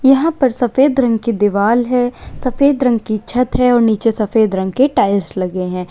यहां पर सफेद रंग की दीवाल है सफेद रंग छत हैं और निचे सफेद रंग की टाइल्स लगे हैं।